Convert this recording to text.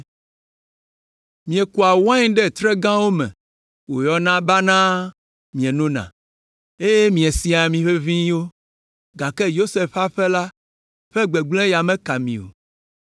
Miekua wain ɖe tre gãwo me wòyɔna banaa mienona, eye miesia ami ʋeʋĩwo, gake Yosef ƒe aƒe la ƒe gbegblẽ ya meka mi o,